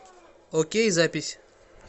окей запись